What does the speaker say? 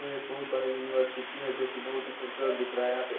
यह एक बहुत बड़ा यूनिवर्सिटी है जो की बहुत ही खूबसूरत दिख रहा है यहाँ पे --